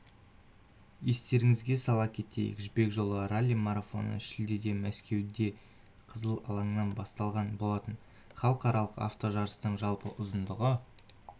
естеріңізге сала кетейік жібек жолы ралли-марафоны шілдеде мәскеуде қызыл алаңнан басталған болатын халықаралық автожарыстың жалпы ұзындығы